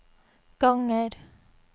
ganger